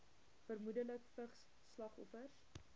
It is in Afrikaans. vermoedelik vigs slagoffers